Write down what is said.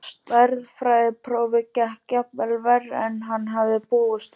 Stærðfræðiprófið gekk jafnvel verr en hann hafði búist við.